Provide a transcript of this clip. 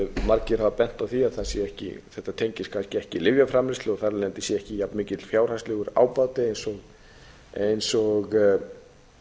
margir hafa bent á það að þetta tengist kannski ekki lyfjaframleiðslu og þar af leiðandi sé ekki jafn mikill fjárhagslegur ábati eins og